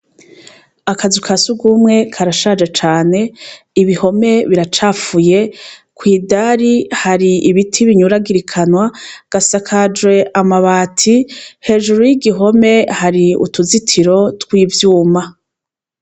Akazu ka sugumwe karashaje cane, ibihome biracafuye, kwi dari hari ibiti binyuragirikana, gasakajwe amabati, hejuru y'igihome hari utuzitiro tw'ivyuma.